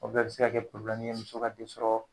O bɛɛ be se ka kɛ ye muso ka den sɔrɔ